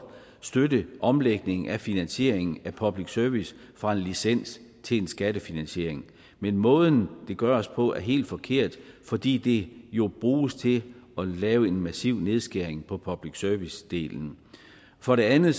støtte omlægningen af finansieringen af public service fra en licensbetaling til en skattefinansiering men måden det gøres på er helt forkert fordi det jo bruges til at lave en massiv nedskæring på public service delen for det andet